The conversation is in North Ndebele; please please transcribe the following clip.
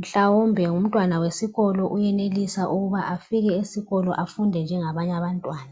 ,mhlawumbe ngumntwana wesikolo uyenelisa ukuba afike esikolo afunde njengabanye abantwana.